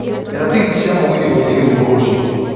etha tigiti cia mũgithi gũthiĩ githumo rũcio